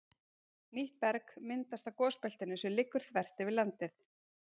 Nýtt berg myndast á gosbeltinu sem liggur þvert yfir landið.